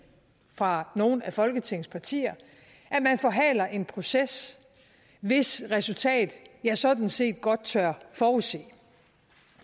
fra nogle af folketingets partier at man forhaler en proces hvis resultat jeg sådan set godt tør forudse